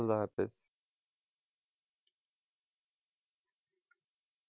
খুদা হাফিজ।